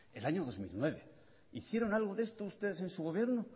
en el año dos mil nueve hicieron algo de esto ustedes en su gobierno